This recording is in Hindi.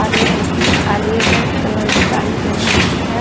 हरे रंग की और रे रेड कलर की साड़ी पहन रखी है.